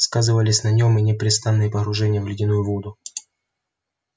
сказывались на нём и непрестанные погружения в ледяную воду